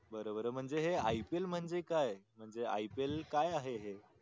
बर बर म्हणजे हे IPL म्हणजे काय म्हणजे हे IPL काय आहे हे